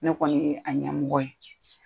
Ne kɔni ye a ɲɛmɔgɔ ye